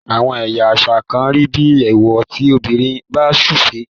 àwọn ẹyà àṣà kán rí bí ewọ tí obìrin bá sufe.